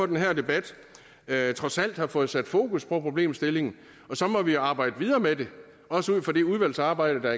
den her debat trods alt har fået sat fokus på problemstillingen og så må vi arbejde videre med det også ud fra det udvalgsarbejde der